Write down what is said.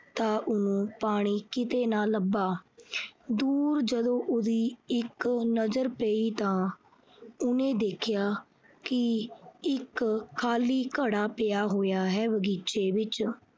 ਤਾਂ ਉਹ ਪਾਣੀ ਕਿਤੇ ਨਾ ਲੱਭਾ। ਦੂਰ ਜਦੋਂ ਉਹਦੀ ਇੱਕ ਨਜਰ ਪਈ ਤਾਂ ਉਹਨੇ ਦੇਖਿਆ ਕਿ ਇੱਕ ਖਾਲੀ ਘੜਾ ਪਿਆ ਹੋਇਆ ਹੈ ਬਗੀਚੇ ਵਿੱਚ।